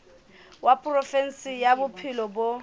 wa provinse ya bophelo bo